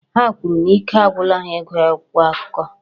Ha kwuru na ike agwụla ha ịgụ akwụkwọ akụkọ